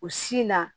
O sin na